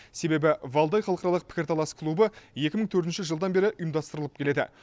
себебі валдай халықаралық пікірталас клубы екі мың төртінші жылдан бері ұйымдастырылып келеді